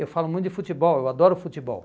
Eu falo muito de futebol, eu adoro futebol.